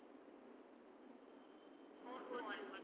four four one one